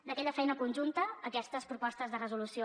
d’aquella feina conjunta aquestes propostes de resolució